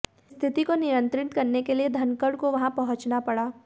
स्थिति को नियंत्रित करने के लिए धनखड़ को वहां पहुंचना पड़ा